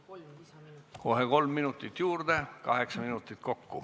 Kohe kolm minutit juurde, kaheksa minutit kokku.